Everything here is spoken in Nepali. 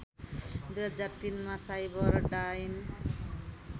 २००३ मा साइबरडाइन